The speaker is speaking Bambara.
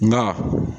Nka